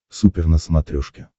супер на смотрешке